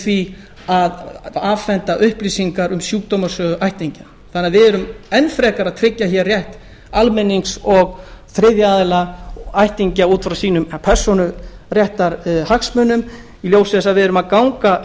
því að afhenda upplýsingar um sjúkdómasögu ættingja við erum enn frekar að tryggja hér rétt almennings og þriðja aðila ættingja út frá sínum persónuréttarhagsmunum í ljósi þess að við göngum